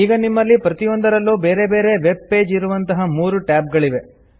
ಈಗ ನಿಮ್ಮಲ್ಲಿ ಪ್ರತಿಯೊಂದರಲ್ಲು ಬೇರೆ ಬೇರೆ ವೆಬ್ ಪೇಜ್ ಇರುವಂತಹ 3 ಟ್ಯಾಬ್ ಗಳಿವೆ